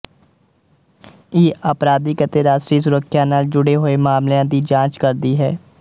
ਇਹ ਅਪਰਾਧਿਕ ਅਤੇ ਰਾਸ਼ਟਰੀ ਸੁਰੱਖਿਆ ਨਾਲ ਜੁੜੇ ਹੋਏ ਮਾਮਲਿਆਂ ਦੀ ਜਾਂਚ ਕਰਦੀ ਹੈ